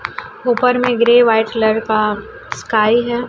ऊपर में grey white colour का स्काई है।